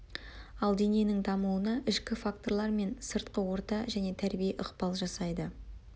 ал дененің дамуына ішкі факторлар мен сыртқы орта және тәрбие ықпал жасайды